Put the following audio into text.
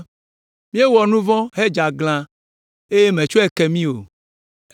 “Míewɔ nu vɔ̃ hedze aglã eye mètsɔe ke mi o.